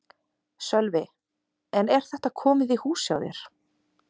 Sölvi: En er þetta komið í hús hjá þér?